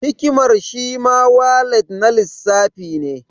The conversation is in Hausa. Hikimar shi ma walat na lissafi ne.